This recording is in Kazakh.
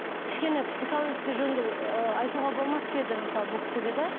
кішкене психологический жөнінде ыыы айтуға болмас па еді мысалы бұл кісіге да